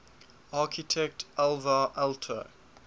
architect alvar aalto